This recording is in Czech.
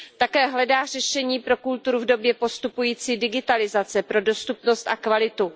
Také hledá řešení pro kulturu v době postupující digitalizace, pro dostupnost a kvalitu.